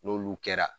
N'olu kɛra